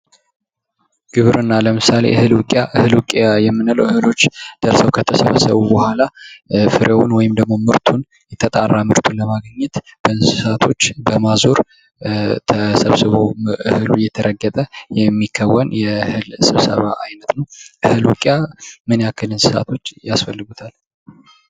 ግብርና ለምሳሌ እህል ዉቂያ እህል ዉቂያ የምንለዉ ለምሳሌ እህሎች ደርሰዉ ከተሰበሰቡ በኋላ ፍሬዉን ወይም ደግሞ ምርቱን የተጣራ ምርት ለማግኘት በእንስሳቶች በማዞር ተሰቅስቦ እህሉ እየተራገበ የሚከወን የእህል ስብሰባ አይነት ነዉ። እህል ዉቂያ ምን ያክል እንስሳቶች ያስፈልጉታል?